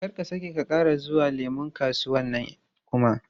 Don't ever go to that orange market again!